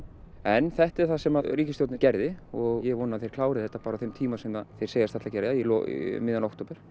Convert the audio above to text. en þetta er það sem ríkisstjórnin gerði og ég vona að þeir klári þetta bara á þeim tíma sem þeir segjast ætla að gera um miðjan október